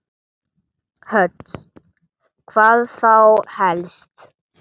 Hödd: Hvað þá helst?